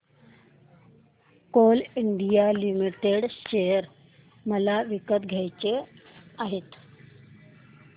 Coal India limited share मला विकत घ्यायचे आहेत